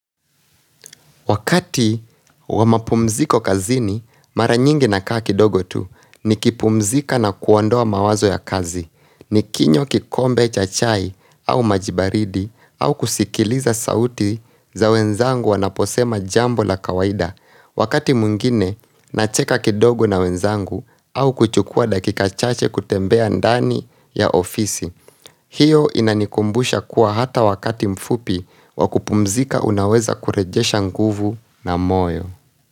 Wakati wa mapumziko kazini, mara nyingi nakaa kidogo tu nikipumzika na kuwandoa mawazo ya kazi. Ni kinyo kikombe cha chai au maji baridi au kusikiliza sauti za wenzangu wanaposema jambo la kawaida. Wakati mwingine, nacheka kidogo na wenzangu au kuchukua dakika chache kutembea ndani ya ofisi. Hiyo inanikumbusha kuwa hata wakati mfupi wa kupumzika unaweza kurejesha nguvu na moyo.